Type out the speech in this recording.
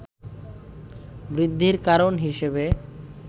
বৃদ্ধির কারণ হিসেবে